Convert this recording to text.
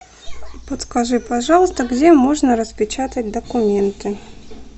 подскажи пожалуйста где можно распечатать документы